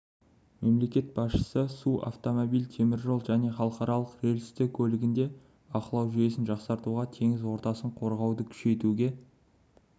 мемлекет басшысы су автомобиль теміржол және қалалық рельсті көлігінде бақылау жүйесін жақсартуға теңіз ортасын қорғауды күшейтуге